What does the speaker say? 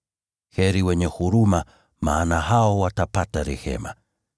Heri wenye huruma, maana hao watapata rehema.